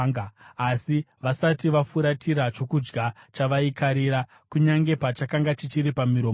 Asi vasati vafuratira chokudya chavaikarira, kunyange pachakanga chichiri pamiromo yavo,